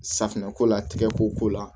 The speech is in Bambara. Safinɛko la tigɛkoko la